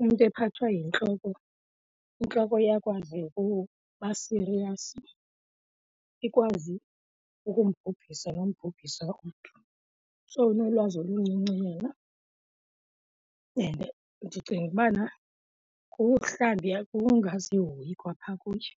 umntu ephathwa yintloko intloko iyakwazi ukubasiriyasi ikwazi ukumbhubhisa nombhubhisa umntu. So unolwazi oluncinci yena and ndicinga ubana kumhlawumbi ukungazihoyi kwa phaa kuye.